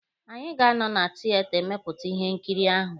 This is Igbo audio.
Anyị ga-anọ na tieta emepụta Ihe nkiri ahụ